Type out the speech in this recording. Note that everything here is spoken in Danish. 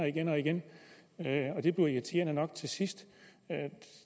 igen og igen det bliver irriterende nok til sidst